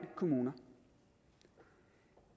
kommune